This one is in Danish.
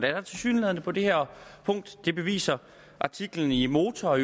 er der tilsyneladende på det her punkt det beviser artiklen i motor og